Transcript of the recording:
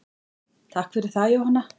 Takk fyrir það Jóhanna.